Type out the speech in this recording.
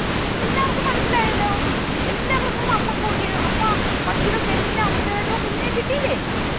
എല്ലാവർക്കും മനസിലായല്ലോ എല്ലാവർക്കും അമ്മക്കോഴിയെ അമ്മ പക്ഷികൾക്ക് എല്ലാം അവരുടേതായിട്ടുള്ള കുഞ്ഞിനെ കിട്ടിയില്ലേ